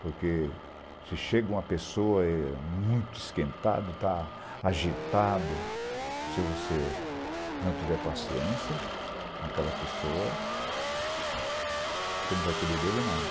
Porque se chega uma pessoa é muito esquentada, agitada, se você não tiver paciência com aquela pessoa, você não vai colher dele nada.